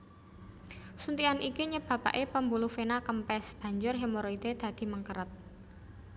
Suntikan iki nyebabake pembuluh vena kempes banjur hemoroide dadi mengkeret